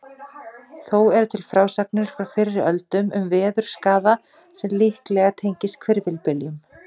Þó eru til frásagnir frá fyrri öldum um veðurskaða sem líklega tengist hvirfilbyljum.